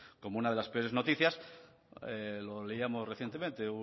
como una de las peores noticias lo leíamos recientemente